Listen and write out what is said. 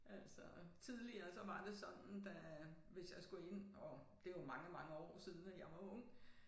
Altså tidligere så var det sådan da hvis jeg skulle ind og det jo mange mange år siden at jeg var ung